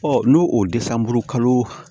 n'o o dɛsan buru kalo